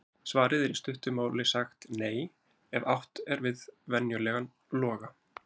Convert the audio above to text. Svarið er í stuttu máli sagt NEI ef átt er við venjulegan loga.